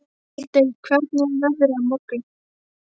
Aldey, hvernig er veðrið á morgun?